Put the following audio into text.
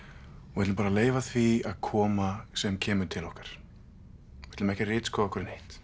og ætlum bara að leyfa því að koma sem kemur til okkar við ætlum ekki að ritskoða okkur neitt